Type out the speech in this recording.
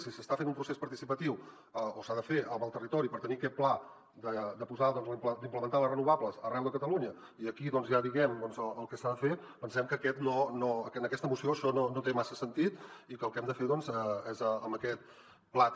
si s’està fent un procés participatiu o s’ha de fer amb el territori per tenir aquest pla d’implementar les renovables arreu de catalunya i aquí doncs hi ha diguem ne el que s’ha de fer pensem que en aquesta moció això no té massa sentit i que el que hem de fer és amb aquest plater